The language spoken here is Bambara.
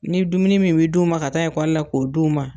Ni dumuni min bɛ d'u ma ka taa ekɔli la k'o d'u ma.